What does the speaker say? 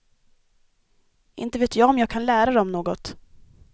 Inte vet jag om jag kan lära dem något.